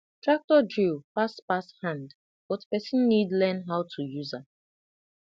tractor drill fast pass hand but person need learn how to use am